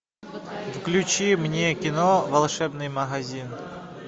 включи мне кино волшебный магазин